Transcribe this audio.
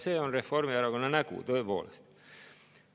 See on Reformierakonna nägu, tõepoolest.